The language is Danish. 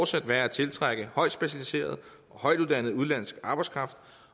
sværere at tiltrække udenlandsk arbejdskraft